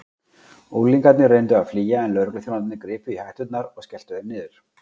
Unglingarnir reyndu að flýja en lögregluþjónarnir gripu í hetturnar og skelltu þeim niður.